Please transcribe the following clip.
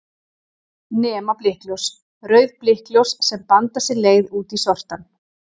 Nema blikkljós, rauð blikkljós sem banda sér leið út í sortann.